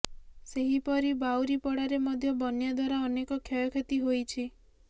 ସେହିପରି ବାଉରୀପଡ଼ାରେ ମଧ୍ୟ ବନ୍ୟା ଦ୍ୱାରା ଅନେକ କ୍ଷୟକ୍ଷତି ହୋଇଛି